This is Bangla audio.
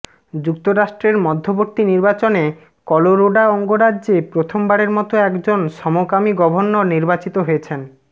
যুক্তরাষ্ট্রের মধ্যবর্তী নির্বাচনে কলোরোডা অঙ্গরাজ্যে প্রথমবারের মতো একজন সমকামী গভর্নর নির্বাচিত হয়েছেন